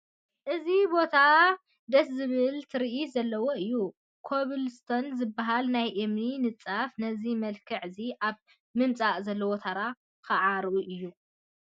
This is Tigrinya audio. እዚ ቦታ ደስ ዝብል ትርኢት ዘለዎ እዩ፡፡ ኮብል ስቶን ዝበሃል ናይ እምኒ ንፃፍ ነዚ መልክዕ እዚ ኣብ ምምፃእ ዘለዎ ተራ ከዓ ርኡይ እዩ፡፡